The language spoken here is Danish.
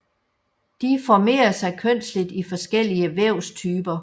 De formerer sig kønsløst i forskellige vævstyper